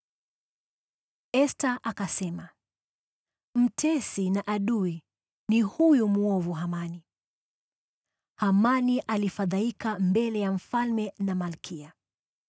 Esta akasema, “Mtesi na adui ni huyu mwovu Hamani.” Hamani alifadhaika mbele ya mfalme na malkia.